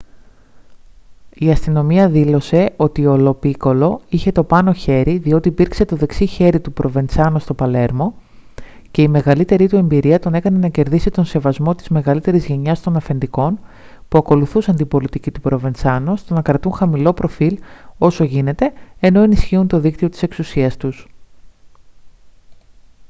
η αστυνομία δήλωσε ότι ο λο πίκολο είχε το πάνω χέρι διότι υπήρξε το δεξί χέρι του προβεντσάνο στο παλέρμο και η μεγαλύτερη του εμπειρία τον έκανε να κερδίσει τον σεβασμό της μεγαλύτερης γενιάς των αφεντικών που ακολουθούσαν την πολιτική του προβεντσάνο στο να κρατούν χαμηλό προφίλ όσο γίνεται ενώ ενισχύουν το δίκτυο της εξουσίας τους